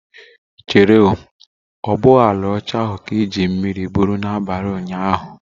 Chere o, obu uo ala ocha ahu ka iju mmiri buru na abali unyanya?